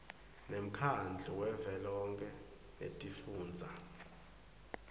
nemkhandlu wavelonkhe wetifundza